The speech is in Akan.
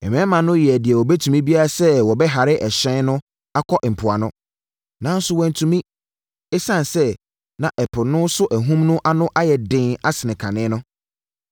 Mmarima no yɛɛ deɛ wɔbɛtumi biara sɛ wɔbɛhare ɛhyɛn no akɔ mpoano. Nanso, wɔantumi, ɛsiane sɛ na ɛpo so ahum no ano ayɛ den asene kane no.